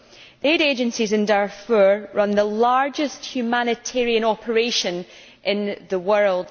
The aid agencies in Darfur run the largest humanitarian operation in the world.